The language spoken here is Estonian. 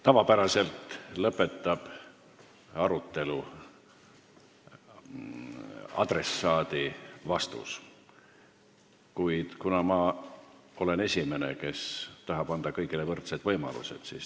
Tavapäraselt lõpetab arutelu adressaadi vastus, kuid mina olen esimene, kes tahab anda kõigile võrdseid võimalusi.